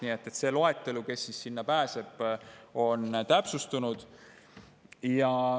See loetelu, kes pääseb, on täpsustunud.